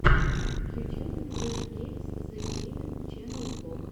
в ютьюбе фреш геймс зэ геймин ченел влог